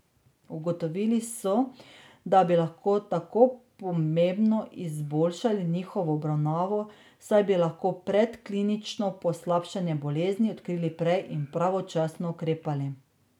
Ugotovili so, da bi lahko tako pomembno izboljšali njihovo obravnavo, saj bi lahko predklinično poslabšanje bolezni odkrili prej in pravočasno ukrepali.